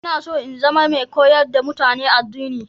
Ina so in zama mai koyar da mutane addini